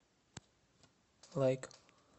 лайк